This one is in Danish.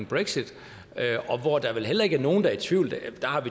brexit hvor der vel heller ikke er nogen der er i tvivl der